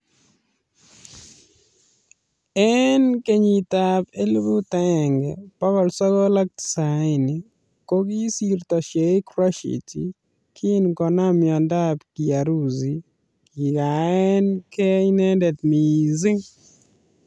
en kenyitap 1990 ko sirto Sheikh Rashid kin konam miondap kiharusi kigaen ke inendet mising.